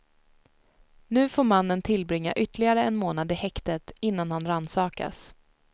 Nu får mannen tillbringa ytterligare en månad i häktet innan han rannsakas.